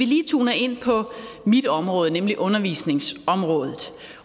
lige tune ind på mit område nemlig undervisningsområdet